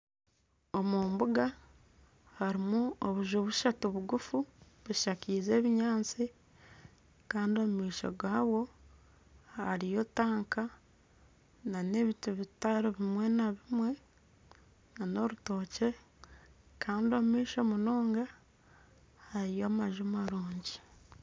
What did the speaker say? Omu mbunga harimu obujju bushatu buguufu bushakize ebinyaatsi kandi omu maisho gabwo hariyo tanka n'ebiti bitari bimwe na bimwe n'orutookye kandi omu maisho munonga hariyo amanju marungi.